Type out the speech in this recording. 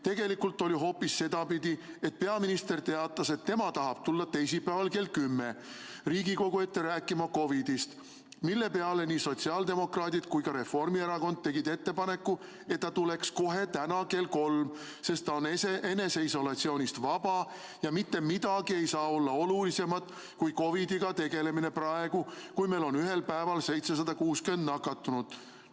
Tegelikult oli hoopis sedapidi, et peaminister teatas, et tema tahab tulla teisipäeval kell 10 Riigikogu ette rääkima COVID‑ist, mille peale nii sotsiaaldemokraadid kui ka Reformierakond tegid ettepaneku, et ta tuleks kohe täna kell kolm, sest ta on eneseisolatsioonist vaba ja mitte midagi ei saa olla olulisemat kui COVID‑iga tegelemine praegu, kui meil on ühel päeval 760 nakatunut.